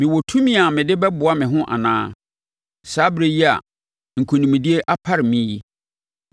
Mewɔ tumi a mede bɛboa me ho anaa? Saa ɛberɛ yi a nkonimdie apare me yi?